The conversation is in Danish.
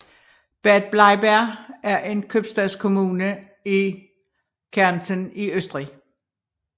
Bad Bleiberg er en købstadskommune i Kärnten i Østrig